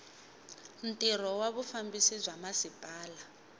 ntirho wa vufambisi bya masipala